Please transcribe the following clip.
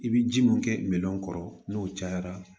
I bɛ ji mun kɛ miliyɔn kɔrɔ n'o cayara